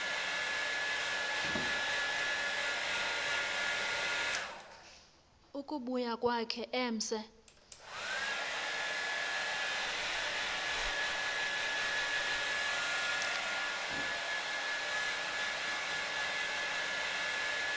ukubuya kwakhe emse